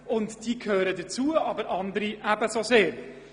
Diese drei gehören dazu, aber andere ebenfalls.